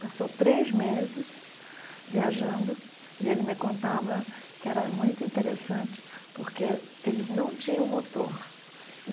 Passou três meses viajando e ele me contava que era muito interessante porque eles não tinham motor.